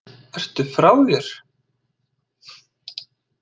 Ertu frá þér??